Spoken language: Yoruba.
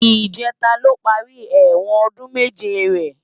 Ijètá ló pàri èwòn òdún méjé rè